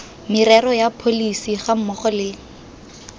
merero ya pholesi gammogo le